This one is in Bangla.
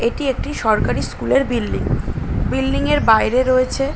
এটি একটি সরকারি স্কুল -এর বিল্ডিং । বিল্ডিং -এর বাইরে রয়েছে--